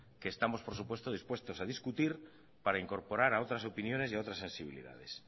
que estamos por supuesto dispuestos a discutir para incorporar a otras opiniones y a otras sensibilidades